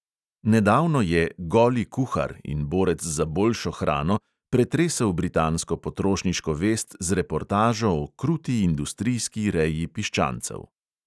Nedavno je "goli kuhar" in borec za boljšo hrano pretresel britansko potrošniško vest z reportažo o kruti industrijski reji piščancev.